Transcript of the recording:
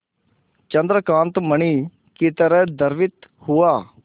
चंद्रकांत मणि ही तरह द्रवित हुआ